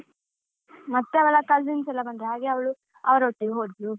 ಮತ್ತೆ ಅವಳ cousins ಎಲ್ಲ ಬಂದ್ರು ಹಾಗೆ ಅವಳು ಅವರೊಟ್ಟಿಗೆ ಹೋದ್ಲು